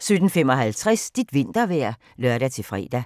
17:55: Dit vintervejr (lør-fre)